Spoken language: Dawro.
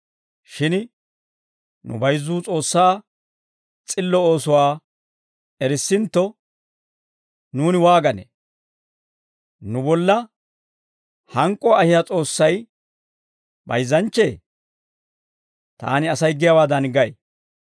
Shin nu bayizzuu S'oossaa s'illo oosuwaa erissintto, nuuni waaganee? Nu bolla hank'k'uwaa ahiyaa S'oossay bayizzanchchee? Taani Asay giyaawaadan gay.